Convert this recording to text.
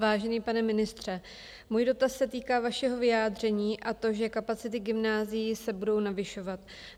Vážený pane ministře, můj dotaz se týká vašeho vyjádření, a to, že kapacity gymnázií se budou navyšovat.